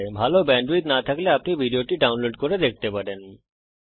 ভাল ব্যান্ডউইডথ না থাকলে আপনি ভিডিওটি ডাউনলোড করে দেখতে পারেন